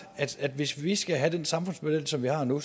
at hvis vi skal have den samfundsmodel som vi har nu